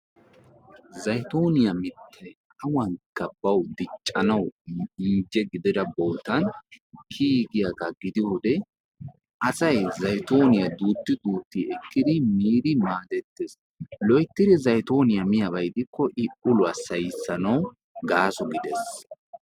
Zayitooniya mittay awankka bawu diccanawu inje gidira bootan kiyiigiyagaa gidiyode asay zayitooniya duutti duutti ekkidi miidi maadettes. Loyittidi zayitooniya miyaaba gidikko i uluwa sahissanawu gaaso gides.